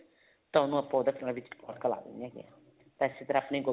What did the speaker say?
ਤਾਂ ਉਹਨੂੰ ਆਪਾਂ ਉਹਦਾ ਦਿੰਨੇ ਹੈਗੇ ਆ ਤਾਂ ਅੱਛੀ ਤਰ੍ਹਾਂ ਆਪਣੇ